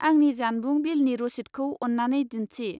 आंनि जानबुं बिलनि रसिदखौ अन्नानै दिन्थि।